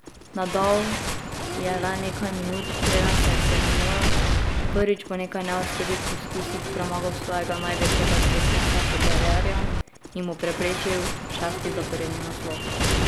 Nadal je le nekaj minut, preden se je stemnilo, prvič po nekaj neuspelih poskusih premagal svojega največjega tekmeca Federerja in mu preprečil šesti zaporedni naslov.